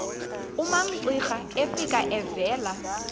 umamcira efika evela